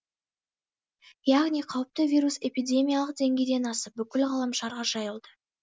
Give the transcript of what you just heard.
яғни қауіпті вирус эпидемиялық деңгейден асып бүкіл ғаламшарға жайылды